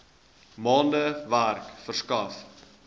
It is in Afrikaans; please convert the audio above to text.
maande werk verskaf